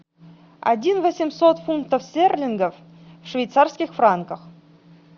один восемьсот фунтов стерлингов в швейцарских франках